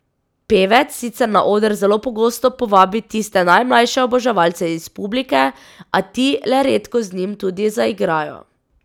Pevec sicer na oder zelo pogosto povabi tiste najmlajše oboževalce iz publike, a ti le redko z njim tudi zaigrajo.